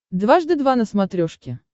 дважды два на смотрешке